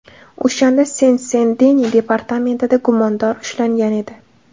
O‘shanda Sen-Sen-Deni departamentida gumondor ushlangan edi.